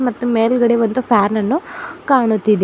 ಮತ್ತು ಮೇಲ್ಗಡೆ ಒಂದು ಫ್ಯಾನ್ ಅನ್ನು ಕಾಣುತ್ತಿದೆ.